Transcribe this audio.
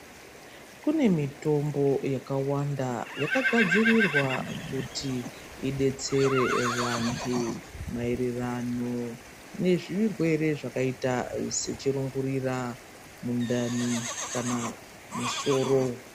Kune mitombo yakawanda yakagadzirirwa kuti idetsere vantu maererano nezvirwere zvakaita sechirungurira ,mundani kana musoro.